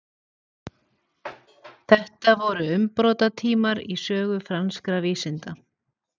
þetta voru umbrotatímar í sögu franskra vísinda